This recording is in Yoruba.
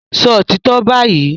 Sọ òtítọ́ báyìí!